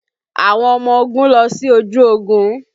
Àwọn ọmọ ogun lọ sí ojú ogun